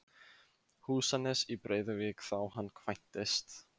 Húsanes í Breiðuvík þá hann kvæntist.